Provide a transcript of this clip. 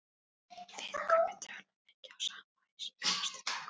Við Gummi töluðum mikið saman í síma næstu daga.